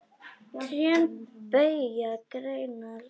Trén beygja greinar sínar.